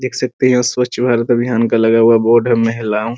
देख सकते हैं उस पर चुहक अभियान का लगा हुआ बोर्ड है महिलाओ --